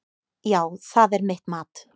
Já, það er mitt mat.